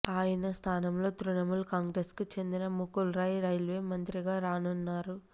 ఆయన స్థానంలో తృణమూల్ కాంగ్రెసుకు చెందిన ముకుల్ రాయ్ రైల్వే మంత్రిగా రానున్నారు